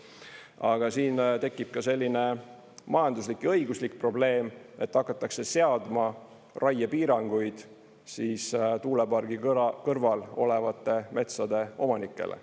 Aga siin tekib ka selline majanduslik ja õiguslik probleem, et hakatakse seadma raiepiiranguid tuulepargi kõrval olevate metsade omanikele.